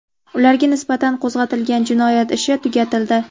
Ularga nisbatan qo‘zg‘atilgan jinoyat ishi tugatildi.